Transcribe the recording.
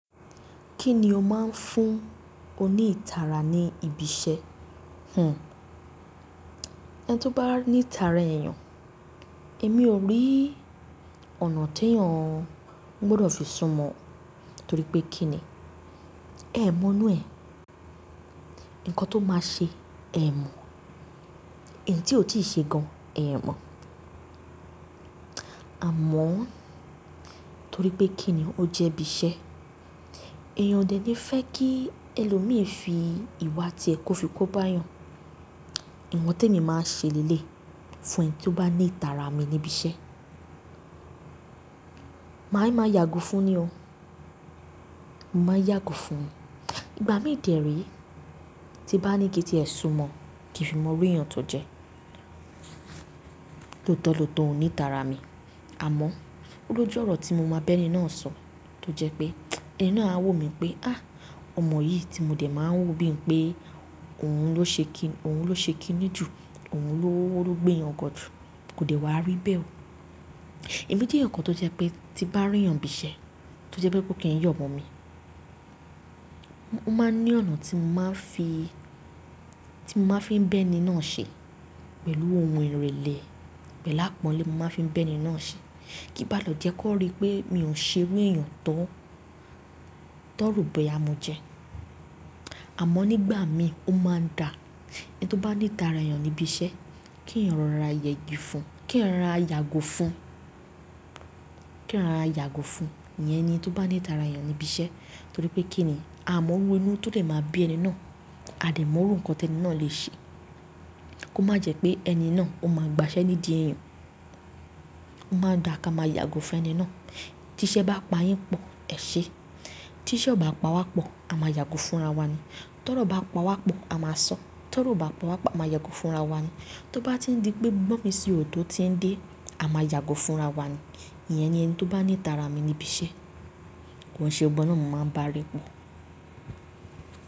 Kí ni o máa ń fún oní ìtara ní ibi iṣẹ́? Hun, ẹni tó bá ní ìtara èeyàn, èmi ò rí ọ̀nà tí èèyàn gbọ́dọ̀ fi súnmọ́ o, torí pé kí ni? Ẹ̀ mọ̀n inu e, nǹkan tó máa ṣe ẹ̀ mọ́, eeyan tí ó ti ṣe gan an ẹ̀ mọ̀. Àmọ́ torí pé kí ni ó jẹ́ ibi iṣẹ́. Èèyàn o dè ní fẹ́ kí ẹlòmíì fi ìwà ti e kò fi kó báyan. Nkan tí èmi máa ń ṣe lẹ́le fún ẹni tí ó bá ní ìtara mi ní ibi iṣẹ́. Màá ń máa yàgò fún un ni o. Mo máa yàgò fún un. Ìgbà mí dè re, tí bá ní kí ẹ ti ẹ súnmọ́, kí n fi mọ oru eeyàn tó jẹ́, tó tọ̀lọ́tọ̀ oní ìtara mi. Àmọ́, ó lójú ọ̀rọ̀ tí mo máa bẹ́ ni náà sọ, tó jẹ́ pé ẹni náà á wò mí pé, á, ọmọ yìí tí mo dè máa ń wò bí i pé òun ló ṣe kí i, òun ló ṣe kí i ní ju, òun ló gbéyan gan jù, kò dẹ̀ wá rí bẹ́ẹ̀ o. Ẹmí jẹ́ eeyan kan tó jẹ́ pé tí bá rí eeyàn nibi iṣẹ́, tó jẹ́ pé kó kì í yọ̀ mo mi. Mo máa ní ọ̀nà tí mo máa ń fi, tí mo máa ń fi bẹ́ ni náà ṣe, pẹ̀lú ohun ìrèlè, pẹ̀lú àpọ́nlé mo máa ń fi bẹ́ ni náà ṣe. Kí n bá le jẹ́ kó rí pé mi ò ṣe oru eeyàn to, tan ro boya mojẹ. Àmọ́ nígbà mi ó máa ń da. Ẹni tó bá ní ìtara eeyàn ní ibi iṣẹ́, kí èèyàn rọra yẹgi fún un, kí ẹ́ rọra yàgò fún un, kí ẹ́ rọra yàgò fún un. Iyẹn ni ẹni tó bá ní ìtara eeyàn ní ibi iṣẹ́. Torí pé kí ni? A mọ̀ óru inú tó lè máa bí ẹni náà, a dè mọ̀ orú nǹkan tí ẹni náà lè ṣe. Ko má jẹ́ pé ẹni náà ó máa gba ṣẹ́ nídi eeyàn. Ó máa ń da ká máa yàgò fún ẹni náà. Tí iṣẹ́ bá pa yín pọ̀, ẹ ṣé. Tí iṣẹ́ ò bá pa wá pọ̀, a máa yàgò fún ara wa ni. Tọ̀rọ̀ bá pa wá pọ̀, a máa sọ̀. Tọ̀rọ̀ ò bá pa wá pọ̀, a máa yàgò fún ara wa ni. Tó bá ti ń di pé gbọ́n mi sì ó tó ti ń dé, a máa yàgò fún ara wa ni. Iyẹn ni ẹni tó bá ní ìtara mi ní ibi iṣẹ́. Koun ṣe gbogbo wan náà mo máa ń bá a rín pọ̀.